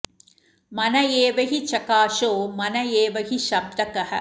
मन एव हि चकाशो मन एव हि शब्दकः